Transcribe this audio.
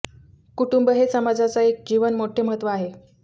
कुटुंब हे समाजाचा एक जीवन मोठे महत्त्व आहे